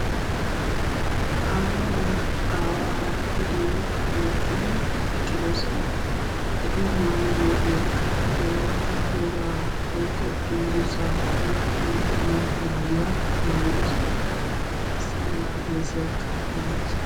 Aayera aawara na'iyo tokkidi eqqidosona. Eti maayidogeka wolaytta wogaa woykko dunguzza mayzza de'iya maayuwa maayiddosona. Issi mala heezzayka maayidosona.